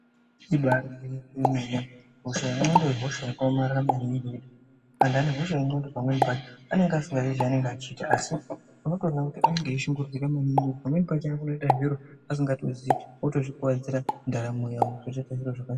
Ibarigwinyiso yemene hosha yendxondo ihosha yakaomarara maningi antu ane hosha yendxondo pamweni pacho anenge asikazivi zvaanenge achiita asi unotoona kuti anenge achishungurudzika pamweni pacho anotoita zviro asikazivi otozvikuvadzira ndaramo yavo .